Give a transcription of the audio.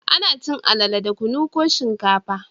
Ana cin alale da kunu ko shinkafa